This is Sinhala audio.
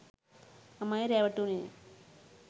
මමයි රැවටුණේ